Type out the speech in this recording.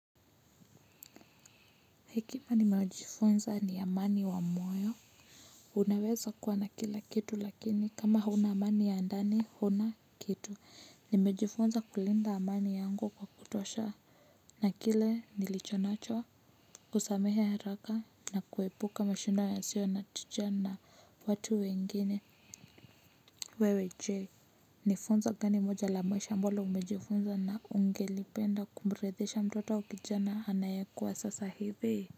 Hekima nimejifunza ni amani wa moyo. Unaweza kuwa na kila kitu lakini kama huna amani ya ndani huna kitu. Nimejifunza kulinda amani yangu kwa kutosha. Na kile nilichonacho kusamehe haraka na kuepuka mashindano yasiyo na tija na watu wengine wewe je. Nifunzo gani moja la mwisho ambalo umejifunza na ungelipenda kumrithisha mtoto au kijana anayekua sasa hivi.